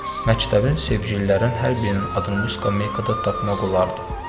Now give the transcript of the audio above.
Məktəbin sevgililərin hər birinin adını miska meykada tapmaq olardı.